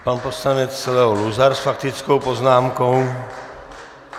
Pan poslanec Leo Luzar s faktickou poznámkou.